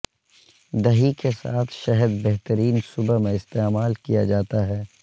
دہی کے ساتھ شہد بہترین صبح میں استعمال کیا جاتا ہے